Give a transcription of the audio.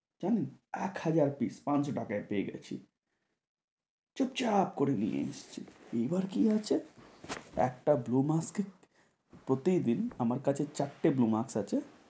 জানেন এক হাজার piece পাঁচশ টাকায় পেয়ে গেছি। চুপচাপ করে নিয়ে এসছি। এইবার কী আছে একটা blue mask এ প্রতিদিন আমার কাছে চারটে blue mask আছে।